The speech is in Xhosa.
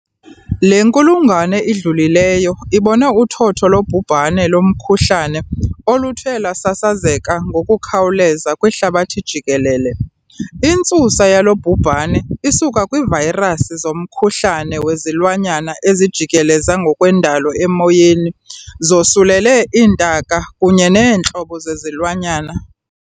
Le nkulungwane idlulileyo ibone uthotho lobhubhane lomkhuhlane oluthe lwasasazeka ngokukhawuleza kwihlabathi jikelele. Intsusa yalo bhubhane isuka kwiivayirasi zomkhuhlane wezilwanyana ezijikeleza ngokwendalo emoyeni zosulele iintaka kunye neentlobo zezilwanyana.